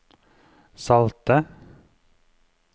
salte